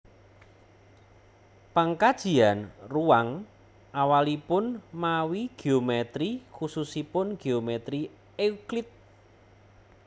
Pangkajian ruwang awalipun mawi géomètri khususipun géomètri euclid